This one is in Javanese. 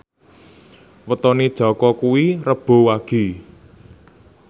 wetone Jaka kuwi Rebo Wage